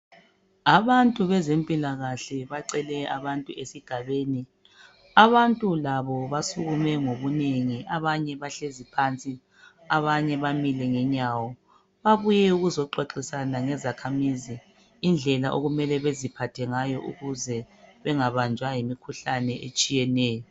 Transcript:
Abantu bezempilakahle bacele abantu esigabeni, abantu labo basukume ngobunengi abanye bahlezi phansi abanye bamile ngenyawo. Babuye ukuzoxoxisana lezakhamizi indlela okumele beziphathe ngayo ukuze bengabanjwa yimikhuhlane etshiyeneyo